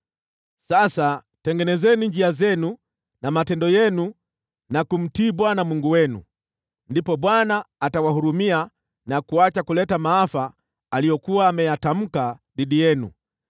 Sasa tengenezeni njia zenu na matendo yenu, na kumtii Bwana Mungu wenu. Ndipo Bwana atawahurumia na kuacha kuleta maafa aliyokuwa ameyatamka dhidi yenu.